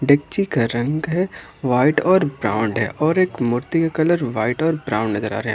डेकची का रंग है व्हाइट और ब्राउन है और एक मूर्ति का कलर व्हाइट और ब्राउन नजर आ रहे है।